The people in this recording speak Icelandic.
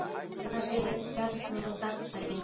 En hvað segir Bjarni um gagnrýnina?